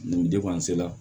Nin la